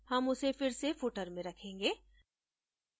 हम उसे फिर से footer में रखेंगे